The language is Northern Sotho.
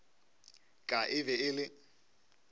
ka e be e le